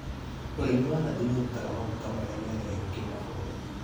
ũrĩmi wa nathi nĩũrutaga maguta marĩa mendagio kĩmabũrũri